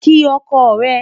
kí ọkọ re